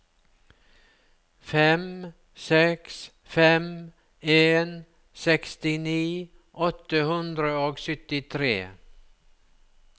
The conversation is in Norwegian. fem seks fem en sekstini åtte hundre og syttitre